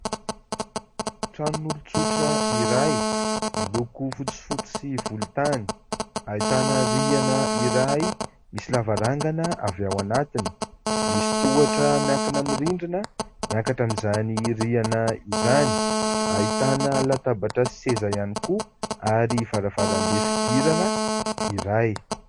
Tranon'olon-tsotra iray miloko fotsifotsy sy volontany. Ahitana rihana iray misy lavarangana avy ao anatiny. Misy tohatra miankina amin'ny rindrina miakatra amin'izany rihana izany. Ahitana latabatra sy seza ihany koa ary varavarambe fidirana iray.